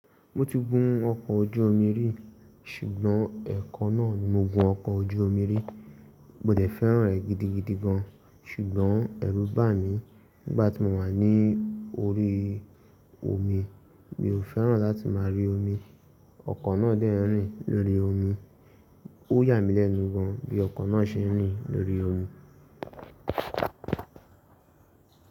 Mo ti gun ọkọ̀ ojú omi rí, ṣùgbọ́n ẹ̀kan náà ni mo gun ọkọ̀ ojú omi rí. Mo dẹ̀ fẹ́ràn ẹ́ gidigidi gan, ṣùgbọ́n ẹrú bà mí nígbà tí mo wà ní orí omi. Mi ò fẹ́ràn láti máa rí omi. Ọkọ̀ náà dẹ́ n rìn lórí omi. Ó yà mí lẹ́nu gan bí ọkọ̀ náà ṣe ń rìn lórí omi.